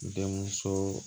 Denmuso